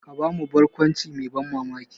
Ka ba mu barkwanci mai ban mamaki.